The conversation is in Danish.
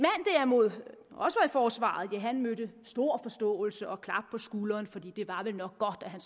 forsvaret mødte stor forståelse og klap på skulderen for det var vel nok godt at han